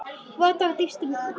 Votta ég mína dýpstu samúð.